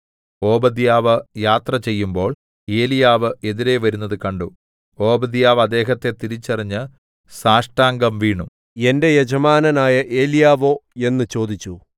ഓബദ്യാവ് യാത്ര ചെയ്യുമ്പോൾ ഏലീയാവ് എതിരെ വരുന്നത് കണ്ടു ഓബദ്യാവ് അദ്ദേഹത്തെ തിരിച്ചറിഞ്ഞ് സാഷ്ടാംഗം വീണു എന്റെ യജമാനനായ ഏലീയാവോ എന്ന് ചോദിച്ചു